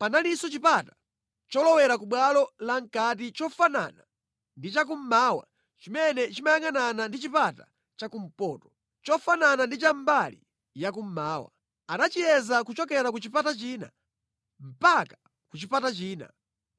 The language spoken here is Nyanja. Panalinso chipata cholowera ku bwalo lamʼkati chofanana ndi chakummawa chimene chimayangʼanana ndi chipata chakumpoto, chofanana ndi cha mbali ya kummawa. Anachiyeza kuchokera ku chipata china mpaka ku chipata china.